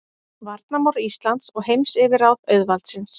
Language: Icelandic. Varnarmál Íslands og heimsyfirráð auðvaldsins.